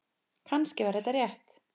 Kannski var þetta rétt.